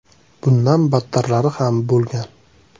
Bundan battarlari ham bo‘lgan.